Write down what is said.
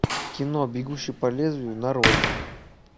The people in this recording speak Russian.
кино бегущий по лезвию нарой